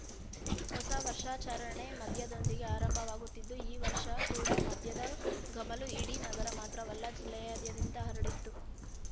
ಹೊಸ ವರ್ಷಾಚರಣೆ ಮದ್ಯದೊಂದಿಗೆ ಆರಂಭವಾಗುತ್ತಿದ್ದು ಈ ವರ್ಷ ಕೂಡ ಮದ್ಯದ ಘಮಲು ಇಡೀ ನಗರ ಮಾತ್ರವಲ್ಲ ಜಿಲ್ಲೆಯಾದ್ಯಂತ ಹರಡಿತ್ತು